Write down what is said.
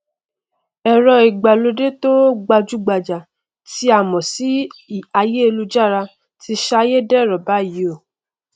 ẹrọ ìgbàlódé tó gbajúgbajà tí à mọ sí aiyélujára ti sayédẹrọ báyìí o